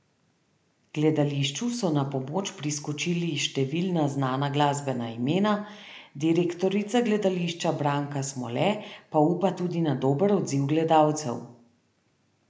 Gledališču so na pomoč priskočili številna znana glasbena imena, direktorica gledališča Branka Smole pa upa tudi na dober odziv gledalcev.